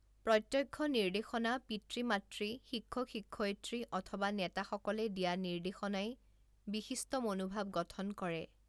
প্ৰত্যক্ষ নিৰ্দেশনা পিতৃ মাতৃ শিক্ষক শিক্ষয়ত্ৰী অথবা নেতাসকলে দিয়া নিদেৰ্শনাই বিশিষ্ট মনোভাৱ গঠন কৰে।